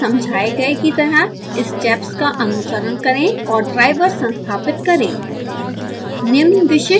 इस गाइड में समझाए गए की तरह स्टेप्स का अनुसरण करें और ड्राईवर संस्थापित करें